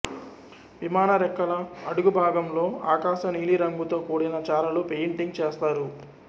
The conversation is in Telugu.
విమానరెక్కల అడుగుబాగంలో ఆకాశ నీలిరంగుతో కూడిన చారలు పెయింటింగ్ చేస్తారు